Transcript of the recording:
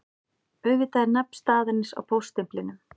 Auðvitað er nafn staðarins á póststimplinum